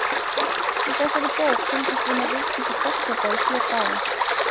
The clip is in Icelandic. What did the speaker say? Í þessari bók fylgjumst við með Vigdísi forseta í sjö daga.